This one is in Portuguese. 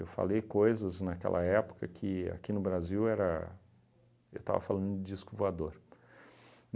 falei coisas naquela época que, aqui no Brasil, era eu estava falando disco voador.